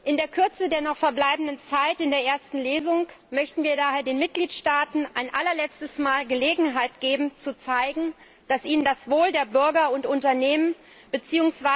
In der Kürze der noch verbleibenden Zeit in der ersten Lesung möchten wir daher den Mitgliedstaaten ein allerletztes Mal Gelegenheit geben zu zeigen, dass ihnen das Wohl der Bürger und Unternehmen bzw.